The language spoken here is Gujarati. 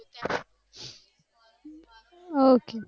હા ok